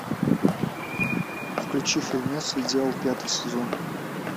включи фильмец идеал пятый сезон